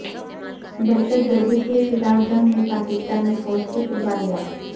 دہشت گردی کے خلاف جنگ میں پاکستانی فوج کی قربانیاں